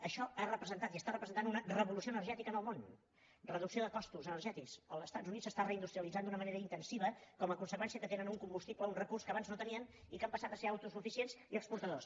això ha representat i està representant una revolució energètica en el món reducció de costos energètics als estats units s’està reindustrialitzant d’una manera intensiva com a conseqüència que tenen un combustible un recurs que abans no tenien i han passat a ser autosuficients i exportadors